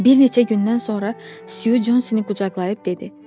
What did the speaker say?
Bir neçə gündən sonra Su Consini qucaqlayıb dedi.